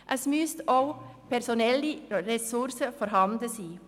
Es müssen auch personelle Ressourcen vorhanden sein.